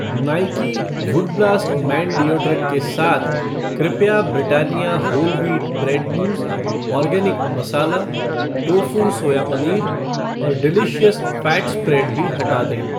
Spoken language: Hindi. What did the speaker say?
Nike wood blast man deodorant के साथ कृपया Britannia whole wheat bread mousse, organic masala tofu, soya paneer और डिलीशियस फ़ैट स्प्रेड भी हटा दें